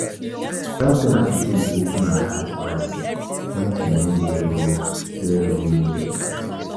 I like the writing style of dat authour and she be my role model